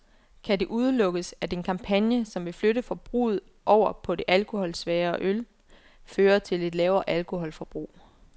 Kan det udelukkes, at en kampagne, som vil flytte forbruget over på det alkoholsvagere øl, fører til et lavere alkoholforbrug?